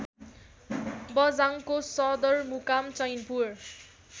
बझाङको सदरमुकाम चैनपुर